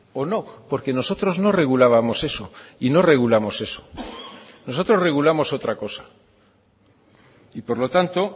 o no porque nosotros no regulábamos eso y no regulamos eso nosotros regulamos otra cosa y por lo tanto